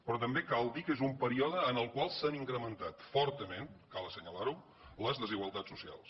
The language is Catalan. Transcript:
però també cal dir que és un període en el qual s’han incrementat fortament cal assenyalar ho les desigualtats socials